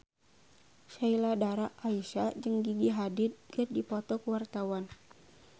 Sheila Dara Aisha jeung Gigi Hadid keur dipoto ku wartawan